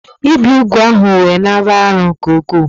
Ibe úgwù ahu we nāb͕a arọ nke-uku